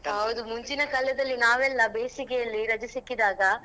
ಹೌದು ಮುಂಚಿನ ಕಾಲದಲ್ಲಿ ನಾವೆಲ್ಲ ಬೇಸಿಗೆಯಲ್ಲಿ ರಜೆ ಸಿಕ್ಕಿದಾಗ.